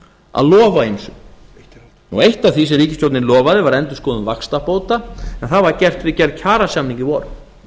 að lofa ýmsu eitt af því sem ríkisstjórnin lofaði var endurskoðun vaxtabóta en það var gert við gerð kjarasamninga í vor